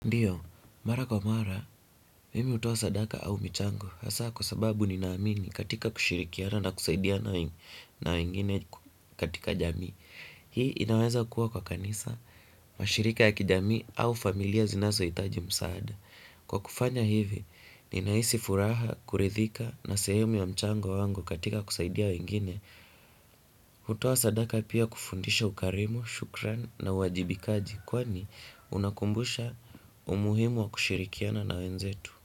Ndiyo, mara kwa mara, mimi hutoa sadaka au mchango. Hasaa kwa sababu ninaamini katika kushirikiana na kusaidia na wengine katika jamii. Hii inaweza kuwa kwa kanisa, mashirika ya kijamii au familia zinazohitaji msaada. Kwa kufanya hivi, ninahisi furaha, kuridhika na sehemu ya mchango wangu katika kusaidia wengine kutoa sadaka pia kufundisha ukarimu, shukran na uwajibikaji, kwani, unakumbusha umuhimu wa kushirikiana na wenzetu.